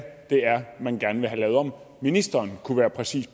det er man gerne vil have lavet om ministeren kunne være præcis